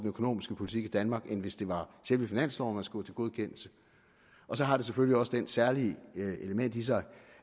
økonomiske politik i danmark end hvis det var selve finansloven man skulle have til godkendelse og så har det selvfølgelig også det særlige element i sig